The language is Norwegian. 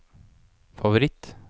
favoritt